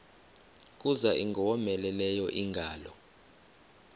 kuza ingowomeleleyo ingalo